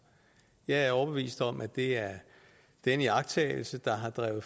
jeg er overbevist om at det er den iagttagelse der har drevet